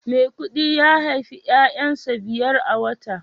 maikudi ya haifi 'ya'yansa biyar a wata